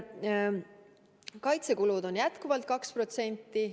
Kaitsekulud on jätkuvalt 2%.